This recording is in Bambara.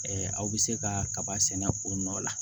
aw bɛ se ka kaba sɛnɛ o nɔ la